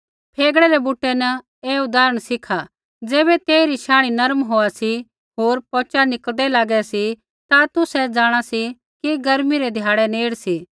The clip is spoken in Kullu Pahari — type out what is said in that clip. फेगड़ा रै बुटै न ऐ उदाहरण सीखा ज़ैबै तेइरी शांणी नरम होआ सी होर पौचा निकल़दै लागा सी ता तुसै जाँणा सी कि गर्मी रै ध्याड़ै नेड़ सी